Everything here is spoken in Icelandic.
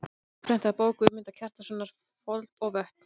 Endurprentað í bók Guðmundar Kjartanssonar: Fold og vötn.